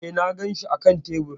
E, na ganshi a kan tebur.